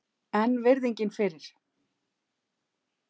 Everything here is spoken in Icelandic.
En virðingin fyrir